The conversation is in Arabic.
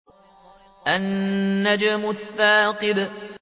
النَّجْمُ الثَّاقِبُ